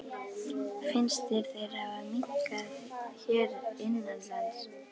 Finnst þér þeir hafa minnkað hér innanlands?